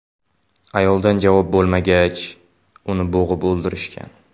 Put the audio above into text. Ayoldan javob bo‘lmagach, uni bo‘g‘ib o‘ldirishgan.